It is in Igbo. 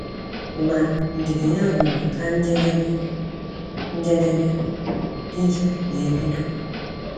Ma ndidi ya ruru na njedebe, njedebe, iju wee bido.